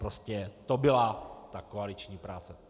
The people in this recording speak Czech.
Prostě to byla ta koaliční práce.